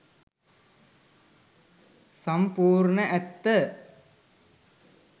සම්පුර්ණ ඇත්ත.